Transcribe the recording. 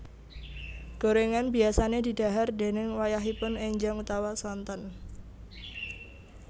Gorengan biasane di dhahar déning wayahipun enjang utawa sonten